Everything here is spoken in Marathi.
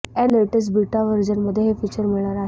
न लेटेस्ट बीटा व्हर्जनमध्ये हे फिचर मिळणार आहे